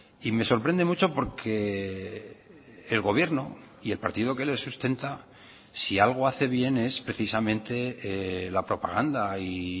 y me sorprende mucho porque el gobierno y el partido que le sustenta si algo hace bien es precisamente la propaganda y